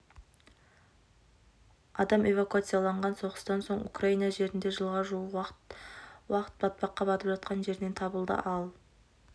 адам эвакуацияланған соғыстан соң украина жерінде жылға жуық уақыт батпаққа батып жатқан жерінен табылды ал